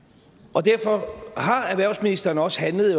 og derfor har erhvervsministeren også handlet